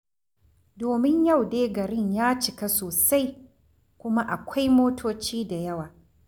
Domin yau dai garin ya cika sosai, kuma akwai motoci da yawa.